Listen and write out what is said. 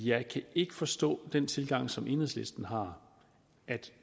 jeg kan ikke forstå den tilgang som enhedslisten har